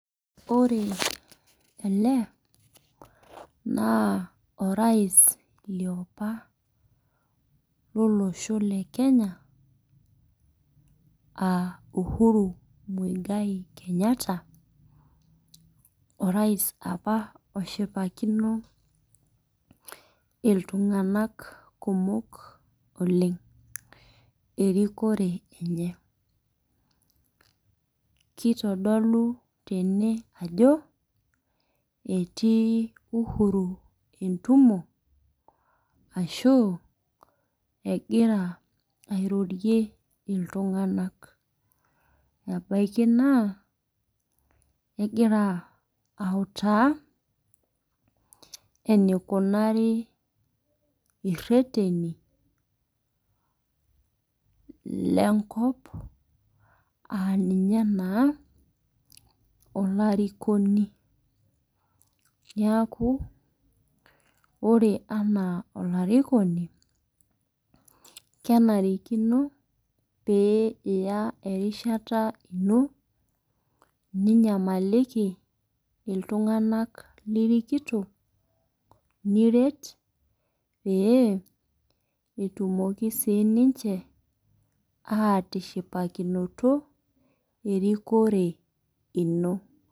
Ore ele na orais liopa lolosho lekenya aa uhuru muigai kenyatta orais apa oshipakino ltunganak kumok oleng erikore enye kitodolu tene ajo etuu uhuru entumo ashu egira airorie ltunganak ebaki na egira autaa enikunari ireteni lenkop aa nunye taa olarikino neaku ore ena olarikoni kenarikino piya erishata ino ninyamalliku ltunganak niret petumoki sinche atishipakino erikore ino.